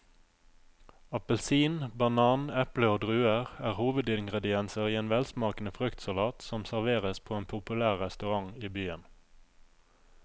Appelsin, banan, eple og druer er hovedingredienser i en velsmakende fruktsalat som serveres på en populær restaurant i byen.